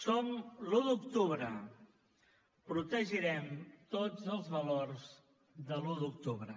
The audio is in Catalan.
som l’un d’octubre protegirem tots els valors de l’un d’octubre